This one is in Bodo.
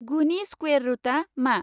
गुनि स्क्वेर रुटआ मा?